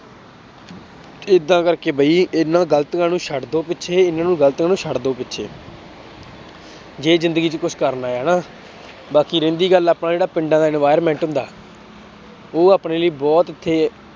ਏਦਾਂ ਕਰਕੇ ਬਈ ਇਹਨਾਂ ਗ਼ਲਤੀਆਂ ਨੂੰ ਛੱਡ ਦਓ ਪਿੱਛੇ ਇਹਨਾਂ ਨੂੰ ਗ਼ਲਤੀਆਂ ਨੂੰ ਛੱਡ ਦਓ ਪਿੱਛੇ ਜੇ ਜ਼ਿੰਦਗੀ ਚ ਕੁਛ ਕਰਨਾ ਹੈ ਹਨਾ, ਬਾਕੀ ਰਹਿੰਦੀ ਗੱਲ ਆਪਣਾ ਜਿਹੜਾ ਪਿੰਡਾਂ ਦਾ environment ਹੁੰਦਾ ਉਹ ਆਪਣੇ ਲਈ ਬਹੁਤ ਇੱਥੇ